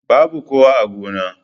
Babu kowa a gona.